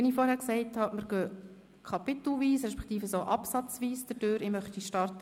Wir arbeiten uns kapitelweise respektive absatzweise durch das Gesetz.